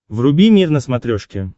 вруби мир на смотрешке